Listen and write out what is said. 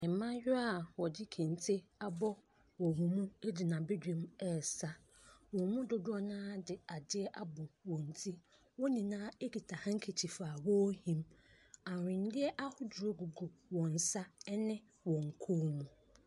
Mmaayaa a wɔde kente abɔ wɔn mu gyina badwam resa. Wɔn mu dodoɔ no ara de adeɛ abɔ wɔn ti. Wɔn nyinaa kuta handkerchief a wɔrehim. Ahweneɛ ahodoɔ gugu wɔn nsa ne wɔn kɔn mu.